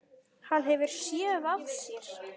Hann hefur SÉÐ AÐ SÉR.